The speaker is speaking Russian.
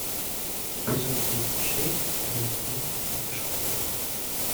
эпизод тридцать шесть второй сезон закрытая школа